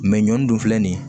Mɛ ɲɔn dun filɛ nin ye